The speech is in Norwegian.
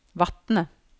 Vatne